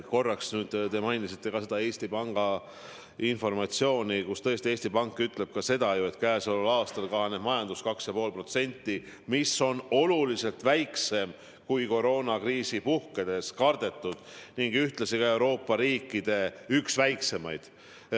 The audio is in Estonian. Korraks te mainisite ka seda Eesti Panga informatsiooni, et tõesti Eesti Pank ütleb, et käesoleval aastal kahaneb majandus 2,5%, mis on oluliselt väiksem langus, kui koroonakriisi puhkedes kardetud, ning ühtlasi ka Euroopa riikide üks väikseimaid.